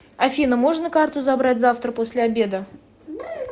афина можно карту забрать завтра после обеда